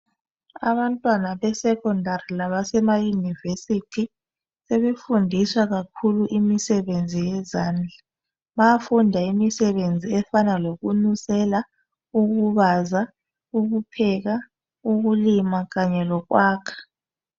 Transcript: Abantwana besecondary labasemayunivesithi sebefundiswa kakhulu imisebenzi yezandla. Bayafunda imisebenzi efana lokunusela, ukubaza, ukupheka, ukulima kanye lokwakha.